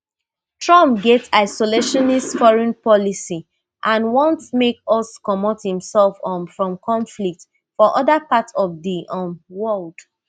trumpget isolationist foreign policy and want make us comot imsef um from conflicts for oda parts of di um world